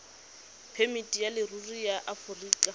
phemiti ya leruri ya aforika